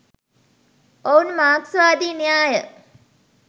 ඔවුන් මාක්ස්වාදී න්‍යාය